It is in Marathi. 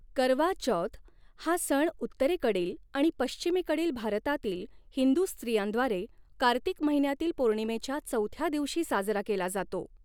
करवा चौथ हा सण उत्तरेकडील आणि पश्चिमेकडील भारतातील हिंदू स्त्रियांद्वारे, कार्तिक महिन्यातील पौर्णिमेच्या चौथ्या दिवशी साजरा केला जातो.